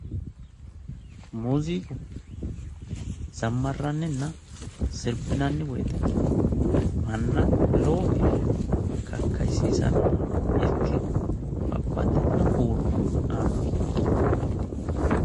Muuziiqu zammarranninna sirbinanni woyite manna lowo geeshsha kakkayisiisannoha ikke abbaxxitino huuro aannorichooti.